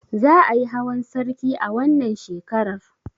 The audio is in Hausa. Za ayi hawan sarki a wannan shekarar?